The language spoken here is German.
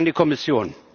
Danke an die Kommission.